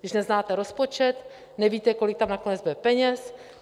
Když neznáte rozpočet, nevíte, kolik tam nakonec bude peněz.